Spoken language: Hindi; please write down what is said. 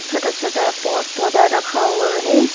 छोटा छोटा पॉट पौधा रखा हुआ है।